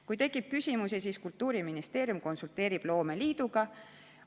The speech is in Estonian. Kui tekib küsimusi, siis Kultuuriministeerium konsulteerib loomeliiduga.